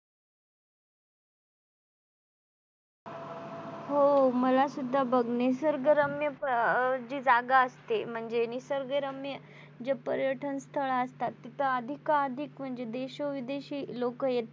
हो मला सुद्धा बघणे निसर्गरम्य अं जी जागा असते म्हणजे निसर्गरम्य जे पर्यटन स्थळे असतात तिथे अधिकाधिक म्हणजे तिथे देशोविदेशी लोक येतात.